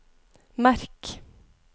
merk